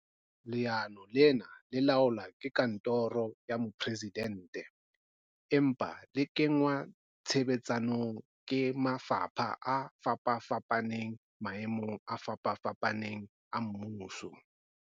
Leano lena le laolwa ke kantoro ya Mo-presidente, empa le kengwa tshebetsong ke mafapha a fapafapaneng maemong a fapafapaneng a mmuso.